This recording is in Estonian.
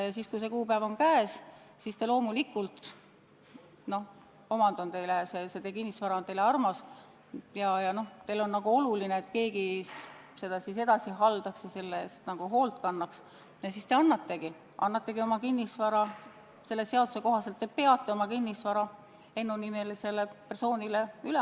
Ja kui see kuupäev on käes, siis te loomulikult – omand, see kinnisvara on teile küll armas, aga teile on oluline, et keegi seda edasi haldaks, selle eest hoolt kannaks – annategi oma kinnisvara selle seaduse kohaselt Ennu-nimelisele persoonile.